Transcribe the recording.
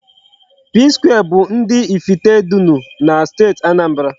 Psquare bụ ndị Ifitedunu na Steeti Anambra.